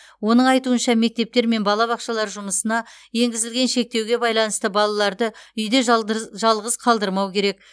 оның айтуынша мектептер мен балабақшалар жұмысына енгізілген шектеуге байланысты балаларды үйде жалғыз қалдырмау керек